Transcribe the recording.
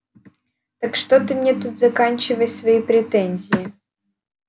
так что ты мне тут заканчивай свои претензии